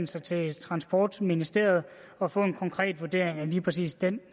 sig til transportministeriet og få en konkret vurdering af lige præcis den